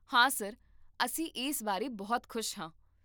ਹਾਂ ਸਰ, ਅਸੀਂ ਇਸ ਬਾਰੇ ਬਹੁਤ ਖੁਸ਼ ਹਾਂ